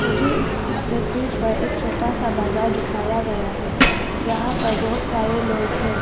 मुझे इस तस्वीर पर एक छोटा सा बाजार दिखाया गया है जहां पर बहुत सारे लोग हैं।